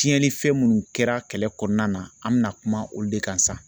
Tiɲɛnifɛn munnu kɛra kɛlɛ kɔnɔna na an mina kuma olu de kan sisan